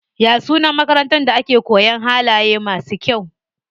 Ya sunan makarantar da ake koyan halaye masu kyau?